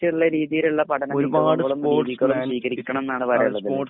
ച്ചിള്ള രീതിയിലുള്ള പഠനത്തിന് കിട്ടണംന്നാണ് പറയുന്നത്.